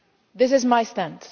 punish. This is my